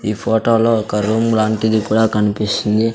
ఈ ఫోటో లో ఒక రూమ్ లాంటిది కూడా కనిపిస్తుంది.